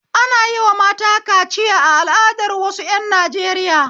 Ana yi wa mata kaciya a al'adar wasu ƴan Najeriya